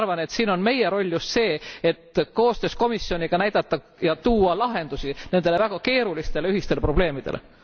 Ma arvan, et siin on meie roll just see, et koostöös komisjoniga näidata ja tuua lahendusi nendele väga keerulistele ühistele probleemidele.